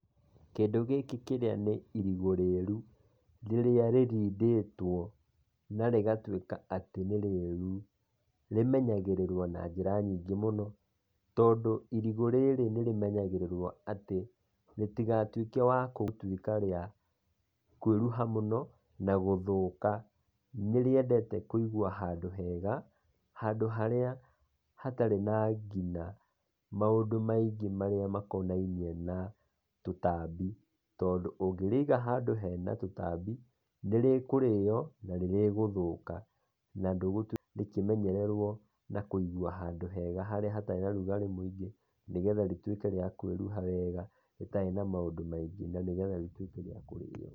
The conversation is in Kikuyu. Kĩndũ gĩkĩ nĩ irigũ rĩru rĩrĩa rĩrindĩtwo, na rĩgatuĩka atĩ nĩ rĩru, rĩmenyagĩrĩrwo na njĩra nyingĩ mũno, tondũ irigũ rĩrĩa nĩ rĩmenyagĩrĩrwo mũno rĩtigatuĩke atĩ, rĩtigatuĩke wa gũtũĩka rĩa kwĩruha mũno na gũthũka, nĩ rĩendete kũigwo handũ hega, handũ harĩa hatarĩ na nginya maũndũ maingĩ marĩa makonainie na tũtambi, tondũ ũngĩrĩiga handũ hena tũtambi nĩrĩ kũrĩo na nĩrĩ gũthũka, na rĩngĩ menyererwo na kũigwo handũ hega harĩa hatarĩ na ũrugarĩ mũingĩ nĩguo rĩtuĩke rĩa kũĩrua wega rĩtarĩ na maũndũ maingĩ.